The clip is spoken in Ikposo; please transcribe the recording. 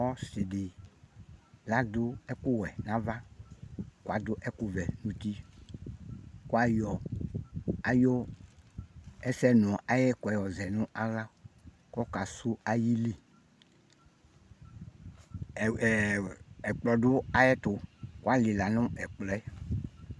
Ɔsɩdɩ ladʋ ɛkʋwɛ n'ava , ladʋ ɛkʋvɛ n'uti Kʋ ayɔ ayʋ ɛsɍnʋ ayɛkʋɛ yɔ zɛ nʋ aɣla ,kɔka sʋ ayili Ɛɛ ɛkplɔ dʋ ayɛtʋ ,kʋ alɩla n'ɛkplɔɛ